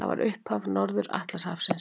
Það var upphaf Norður-Atlantshafsins.